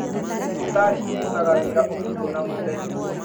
Dhibitarĩ cirutaga wĩra ũtukũ na mũthenya.